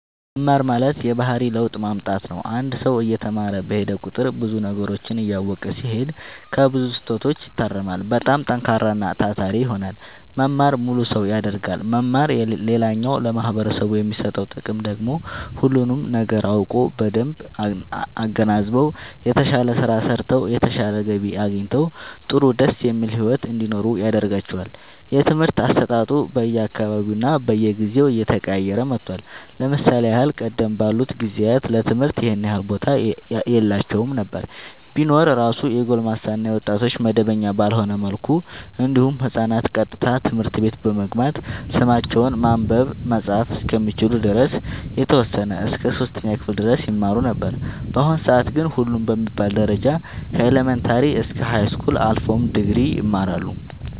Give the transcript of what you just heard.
መማር ማለት የባህሪ ለውጥ ማምጣት ነው አንድ ሰው እየተማረ በሄደ ቁጥር ብዙ ነገሮችን እያወቀ ሲሄድ ከብዙ ስህተቶች ይታረማል በጣም ጠንካራና ታታሪ ይሆናል መማር ሙሉ ሰው ያደርጋል መማር ሌላኛው ለማህበረሰቡ የሚሰጠው ጥቅም ደግሞ ሁሉንም ነገር አውቀው በደንብ አገናዝበው የተሻለ ስራ ሰርተው የተሻለ ገቢ አግኝተው ጥሩ ደስ የሚል ሒወት እንዲኖሩ ያደርጋቸዋል። የትምህርት አሰጣጡ በየ አካባቢውና በየጊዜው እየተቀያየረ መጥቷል ለምሳሌ ያህል ቀደም ባሉት ጊዜያት ለትምህርት ይኸን ያህል ቦታ የላቸውም ነበር ቢኖር እራሱ የጎልማሳ እና የወጣቶች መደበኛ ባልሆነ መልኩ እንዲሁም ህፃናት ቀጥታ ትምህርት ቤት በመግባት ስማቸውን ማንበብ መፃፍ እስከሚችሉ ድረስ የተወሰነ እስከ 3ኛ ክፍል ድረስ ይማሩ ነበር በአሁኑ ሰአት ግን ሁሉም በሚባል ደረጃ ከኢለመንታሪ እስከ ሀይስኩል አልፎም ድግሪ ይማራሉ